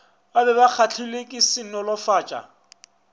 be ba kgahlilwe ke senolofatša